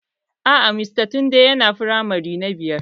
Aa, mr tunde yana firamare na biyar